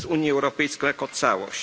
przez Unię Europejską jako całość.